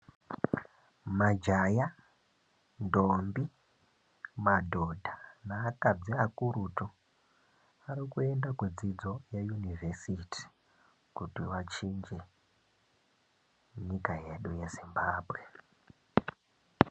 Majaya, ndombi , madhodha neakadzi akurutu arikuenda kudzidzo yeyunivhesiti kuti vachinje nyika yedu yeZimbambwe.